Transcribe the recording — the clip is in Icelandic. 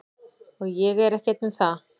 Og ég er ekki einn um það.